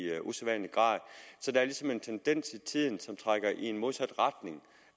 usædvanlig grad så der er ligesom en tendens i tiden som trækker i den modsatte retning